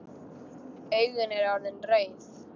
Augun eru orðin rauð.